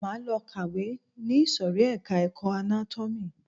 Máa lọ kàwé ni ìsòrí ẹka ẹ̀kọ́ anátómì.